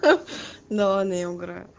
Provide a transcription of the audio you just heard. ах да ладно я угораю